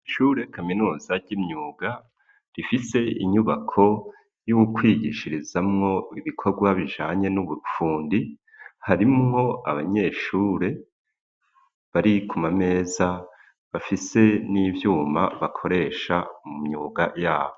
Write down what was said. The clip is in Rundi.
Ishure kaminuza ry'imyuga, rifise inyubako y'ukwigishirizamwo ibikorwa bijanye n'ubufundi, harimwo abanyeshure bari ku mameza, bafise n'ivyuma bakoresha mu myuga yabo.